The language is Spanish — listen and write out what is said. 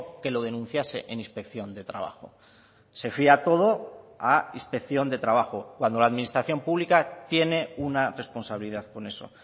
que lo denunciase en inspección de trabajo se fía todo a inspección de trabajo cuando la administración pública tiene una responsabilidad con eso